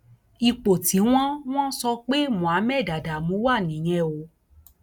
ipò tí wọn wọn sọ pé muhammed adamu wà nìyẹn o